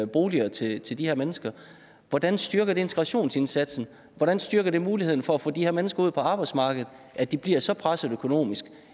boliger til til de her mennesker hvordan styrker det integrationsindsatsen hvordan styrker det muligheden for at få de her mennesker ud på arbejdsmarkedet at de bliver så pressede økonomisk